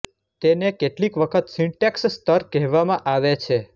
તેને કેટલીક વખત સિંટેક્સ સ્તર કહેવામાં આવે છે